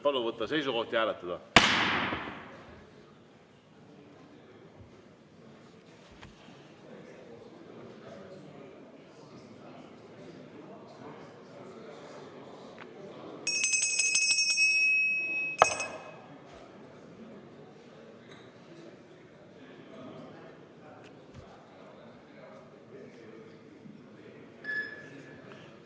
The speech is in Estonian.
Palun võtta seisukoht ja hääletada!